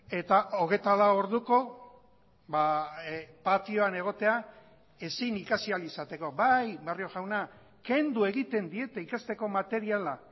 eta hogeita lau orduko patioan egotea ezin ikasi ahal izateko bai barrio jauna kendu egiten diete ikasteko materiala